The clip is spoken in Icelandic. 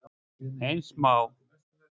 Eins má